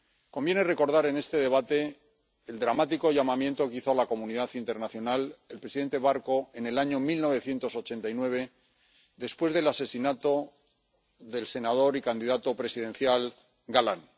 Conviene recordar en este debate el dramático llamamiento que hizo a la comunidad internacional el presidente Barco en el año 1989, después del asesinato del senador y candidato presidencial Galán.